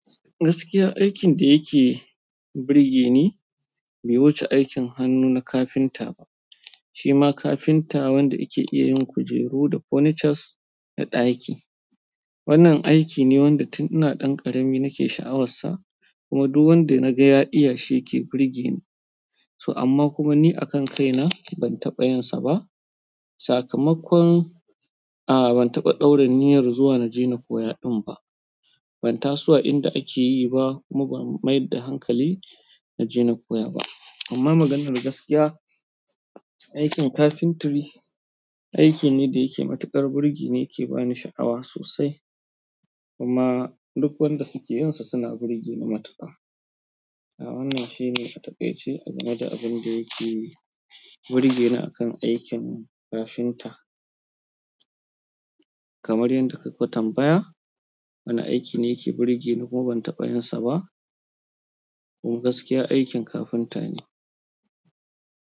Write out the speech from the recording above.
Gaskiya, aikin da yake burge ni bai wuce aikin hannu na kafinta ba. Shima kafinta wanda yake iya yin kujeru da furnitures na ɗaki. Wannan aiki ne wanda tun ina ɗan ƙarami nake sha'awarsa, kuma duk wanda na ga ya iya shi yake burge ni. To amma kuma ni a kan kai na ban taɓa yansa ba. Sakamakon, a'a ban taɓa ɗaura niyyar zuwa na je na koya ɗin ba. Ban taso a inda ake yi ba, kuma ba mayar da hankali na je na koya ba. Amma maganar gaskiya, aikin carpentry aiki ne da yake matuƙar burge ni yake bani sha'awa sosai. Kuma duk wanda suke yinsa suna burge ni matuƙa. A wannan shine a taƙaice, a game da abun da yake burge ni akan aikin kafinta. Kamar yadlnda ka tambaya, wane aiki ne yake burge ni kuma ban taɓa yinsa ba. To gaskiya aikin kafinta ne.